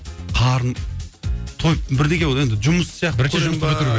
қарным тойып бірдеңе болып енді жұмыс сияқты көремін бе